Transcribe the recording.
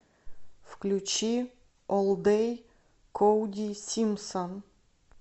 включи олл дэй коди симпсон